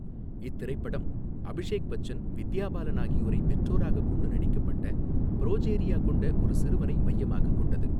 இத்திரைப்படம் அபிஷேக் பச்சன் வித்யா பாலன் ஆகியோரைப் பெற்றோராகக்கொண்டு நடிக்கப்பட்ட ப்ரோஜேரியா கொண்ட ஒரு சிறுவனை மையமாகக் கொண்டது.